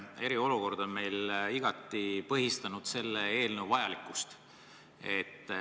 Eriolukord on igati näidanud selle eelnõu vajalikkust.